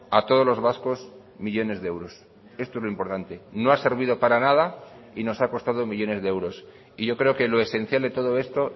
a todos los vascos millónes de euros esto es lo importante no ha servido para nada y nos ha costado millónes de euros y yo creo que lo esencial de todo esto